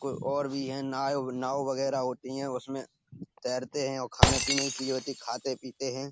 कोई और भी है। नव नाव वगेरा होती हैं उसमे तैरते हैं और खाने पीने की चीज होती है खाते पीते हैं।